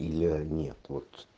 и леонид вот